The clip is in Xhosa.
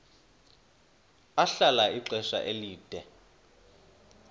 ahlala ixesha elide